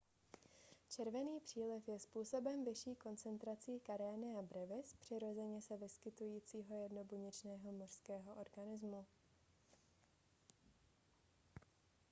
červený příliv je způsoben vyšší koncentrací karenia brevis přirozeně se vyskytujícího jednobuněčného mořského organismu